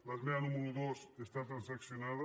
l’esmena número dos està transaccionada